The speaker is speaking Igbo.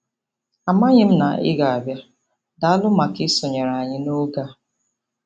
Amaghị m na ị ga-abịa - Daalụ maka isonyere anyị n'oge a.